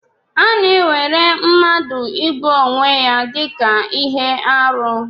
A na-ewere mmadụ igbu onwe ya dị ka ihe arụ.